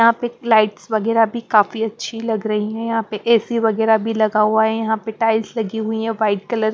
यहां पे एक लाइट्स वगैरह भी काफी अच्छी लग रही है यहां पे ए_सी वगैरह भी लगा हुआ है यहां पे टाइल्स लगी हुई है वाइट कलर --